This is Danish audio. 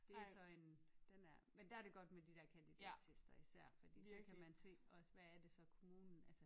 Det så en den er men der er det godt med de der kandidattester især fordi så kan man se også hvad er det så kommunen altså